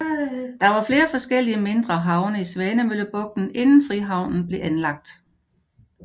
Der var flere forskellige mindre havne i Svanemøllebugten inden Frihavnen blev anlagt